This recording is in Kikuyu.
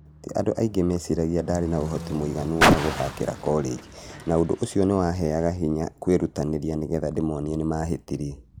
Ti andũ aingĩ meciragĩa ndarĩ na ũhoti mũiganu wa gũthakĩra korenji na ũndũ ũcio nĩ waheaga hinya kwĩrutanĩria nĩgetha ndĩmonie nĩmahĩtĩtie.